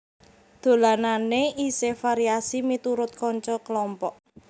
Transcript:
Dolanane isih variasi miturut kanca kelompok